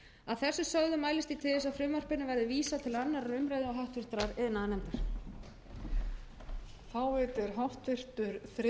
að þessu sögðu mælist ég til þess að frumvarpinu verði vísað til annarrar umræðu og háttvirtur iðnaðarnefndar